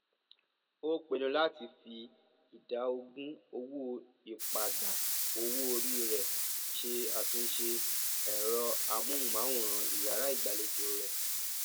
ó pinnu láti fi ìdá ogún owó ìpadà owóori rẹ ṣe àtúnṣe ẹrọ amóhùnmáwòrán iyàrá ìgbàlejò rẹ